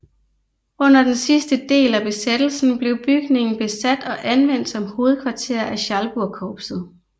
Under den sidste del af besættelsen blev bygningen besat og anvendt som hovedkvarter af Schalburgkorpset